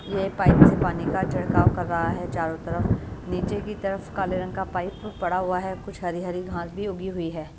ये पाइप से पानी का छिड़काव कर रहा है चारों तरफ नीचे की तरफ काले रंग का पाइप पड़ा हुआ है कुछ हरी-हरी घास भी उगी हुई है।